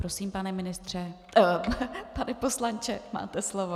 Prosím, pane ministře - pane poslanče, máte slovo.